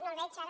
no el veig ara